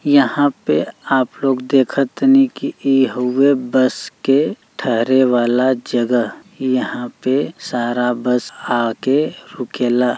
यहाँ पे आप लोग देख तनी की इ हउवे बस के ठहरे वाला जगह यहाँ पे सारा बस आके रुकेला।